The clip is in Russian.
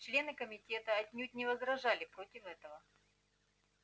члены комитета отнюдь не возражали против этого